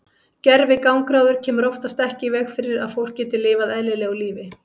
Gervigangráður kemur oftast ekki í veg fyrir að fólk geti lifað eðlilegu lífi.